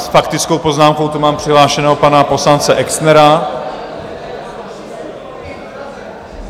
S faktickou poznámkou tu mám přihlášeného pana poslance Exnera.